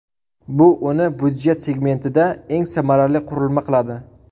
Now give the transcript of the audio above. Bu uni byudjet segmentida eng samarali qurilma qiladi.